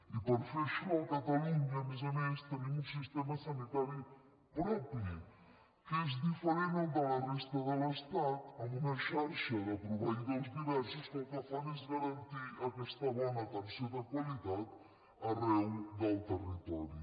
i per fer això a catalunya a més a més tenim un sistema sanitari propi que és diferent del de la resta de l’estat amb una xarxa de proveïdors diversos que el que fan és garantir aquesta bona atenció de qualitat arreu del territori